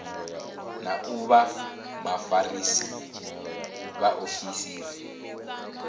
na u vha vhafarisa vhaofisiri